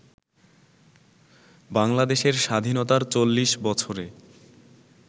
বাংলাদেশের স্বাধীনতার চল্লিশ বছরে